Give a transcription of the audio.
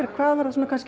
hvað var það sem